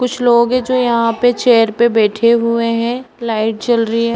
कुछ लोग हैं जो यहाँ पे चेयर पर बैठे हुए हैं। लाइट जल रही है।